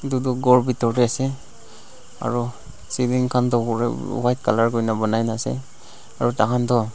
idu doh gor bitor dey ase aru ceiling khan du white colour kurna banai ase aru takhan doh--